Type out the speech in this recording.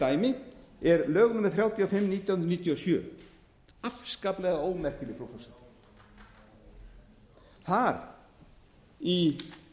dæmi sem er lög númer þrjátíu og fimm nítján hundruð níutíu og sjö afskaplega ómerkileg frú forseti í